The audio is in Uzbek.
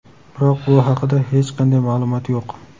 Biroq bu haqida hech qanday ma’lumot yo‘q.